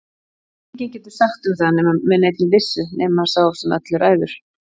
Enginn getur sagt um það með neinni vissu nema sá sem öllu ræður.